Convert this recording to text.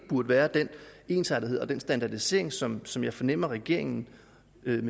burde være den ensartethed og den standardisering som som jeg fornemmer at regeringen